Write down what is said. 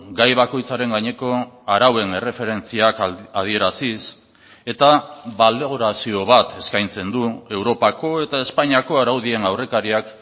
gai bakoitzaren gaineko arauen erreferentziak adieraziz eta balorazio bat eskaintzen du europako eta espainiako araudien aurrekariak